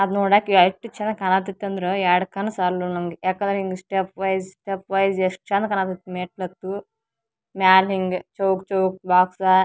ಅದ್ ನೋಡಾಕ್ ಎಷ್ಟ್ ಚನಗ್ ಕಾಣತಿತತಂದ್ರ ಎರಡ್ ಕಣ್ಣ್ ಸಾಲುಲ್ಲ್ ನಮ್ಗ್ ಯಾಕಂದ್ರ ಹಿಂಗ್ ಸ್ಟೆಪ್ಪ್ ವೈಸ್ ಸ್ಟೆಪ್ ವೈಸ್ ಎಷ್ಟ್ ಚಂದ ಕಾಣಕತ್ತ್ ಮೆಟ್ಲತ್ತೂ ಮ್ಯಾಲ್ ಹಿಂಗೆ ಚೋಕ್ ಚೋಕ್ ಬಾಕ್ಸ .